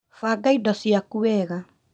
Banga indo ciaku wega